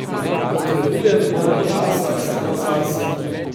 Potrebujem malo časa samo zase.